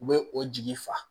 U bɛ o jigi fa